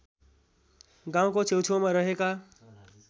गाउँको छेउछेउमा रहेका